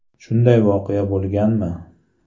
Shunday voqea bo‘lganmi?